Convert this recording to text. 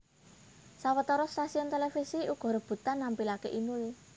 Sawetara stasiun télévisi uga rebutan nampilaké Inul